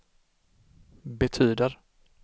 betyder